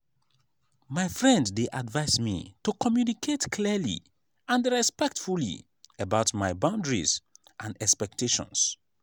my friend dey advise me to communicate clearly and respectfully about my boundaries and expectations.